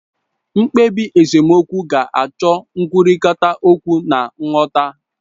mkpebi esemokwu ga-acho nkwurita okwu na nghota